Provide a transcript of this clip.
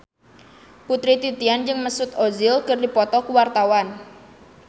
Putri Titian jeung Mesut Ozil keur dipoto ku wartawan